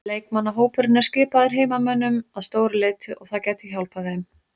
Leikmannahópurinn er skipaður heimamönnum að stóru leyti og það gæti hjálpað þeim.